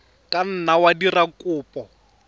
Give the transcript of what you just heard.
ka nna wa dira kopo